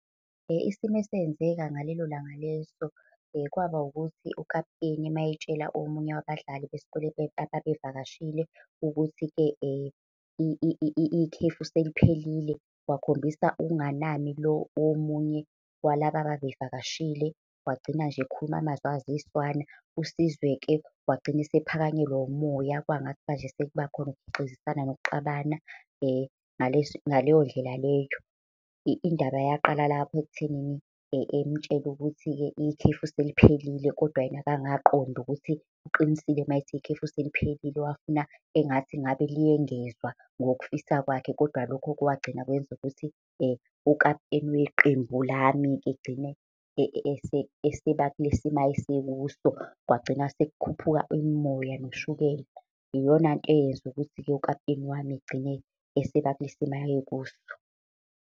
Isimo esenzeka ngalelo langa leso, kwaba ukuthi ukaputeni uma etshela omunye wabadlali besikole ababevakashile ukuthi-ke ikhefu seliphelile, wakhombisa ukunganami lo omunye walaba ababevakashile. Wagcina nje ekhuluma amazwi eziswana. USizwe-ke wagcina esephakanyelwa umoya kwangathi manje sekuba khona ukugxizisana, nokuxabana ngaleyo ndlela leyo. Indaba yaqala lapho ekuthenini emtshele ukuthi-ke ikhefu seliphelile, kodwa yena akangaqonda ukuthi uqinisile uma ethi ikhefu seliphelile. Wafuna engathi ngabe liyengezwa ngoku fisa kwakhe. Kodwa lokho kwagcina kwenza ukuthi ukaputeni weqembu lami-ke agcine eseba kule simo ayesekuso, kwagcina sekukhuphuka imimoya, noshukela. Iyona nto eyenza ukuthi-ke ukaputeni wami agcine eseba kule simo ayekuso.